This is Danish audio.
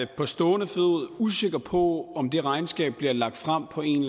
er på stående fod usikker på om det regnskab bliver lagt frem på en